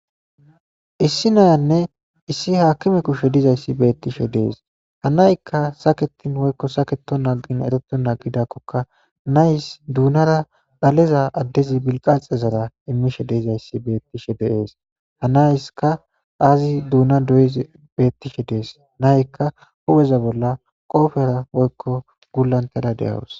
issi nayanne issi haakime kushe dizayssi beettishe dees ha naykka saketin woykko saketo naqin ereto nagidakkoka nays duunara dhaleza addezi bilqaxe zara immishe deizayssi beettishe deees hanayska aazi duuna doye bettishe dees nayykka hupheza bolla qoofera woykko gullantada deyawus